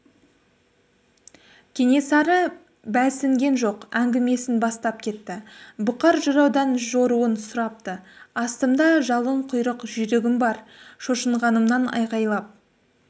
кенесары бәлсінген жоқ әңгімесін бастап кетті бұқар жыраудан жоруын сұрапты астымда жалынқұйрық жүйрігім бар шошынғанымнан айқайлап